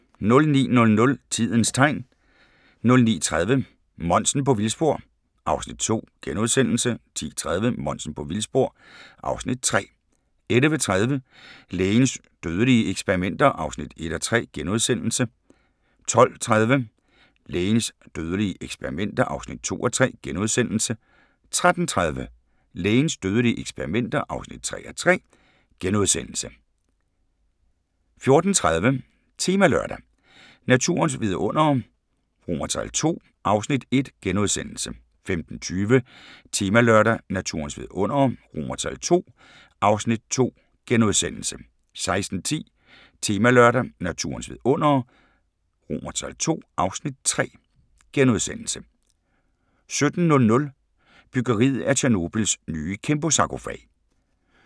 09:00: Tidens Tegn 09:30: Monsen på vildspor (Afs. 2)* 10:30: Monsen på vildspor (Afs. 3) 11:30: Lægens dødelige eksperimenter (1:3)* 12:30: Lægens dødelige eksperimenter (2:3)* 13:30: Lægens dødelige eksperimenter (3:3)* 14:30: Temalørdag: Naturens vidundere II (Afs. 1)* 15:20: Temalørdag: Naturens vidundere II (Afs. 2)* 16:10: Temalørdag: Naturens vidundere II (Afs. 3)* 17:00: Byggeriet af Tjernobyls nye kæmpesarkofag